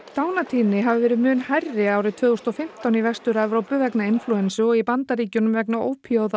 dánartíðni hafi verið mun hærri tvö þúsund og fimmtán í Vestur Evrópu vegna inflúensu og í Bandaríkjunum vegna